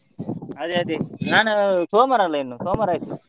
ಅದೇ ಅದೇ ನಾನು ಸೋಮವಾರ ಅಲ್ಲ ಇನ್ನು ಸೋಮವಾರ ಆಯ್ತು.